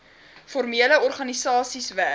formele organisasies werk